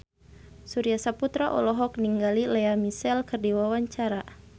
Surya Saputra olohok ningali Lea Michele keur diwawancara